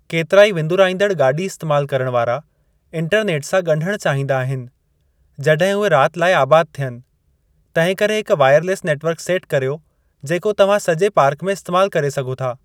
केतिराई विंदुराईंदड़ गाॾी इस्तेमाल करण वारा इंटरनेट सां ॻंढणु चाहींदा आहिनि जॾहिं उहे राति लाइ आबाद थियनि, तंहिंकरे हिकु वायरलैस नेट वर्क सेट करियो जेको तव्हां सॼे पार्क में इस्तेमाल करे सघो था।